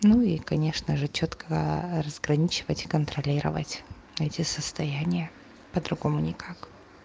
ну и конечно же чётко разграничивать и контролировать эти состояния по-другому никак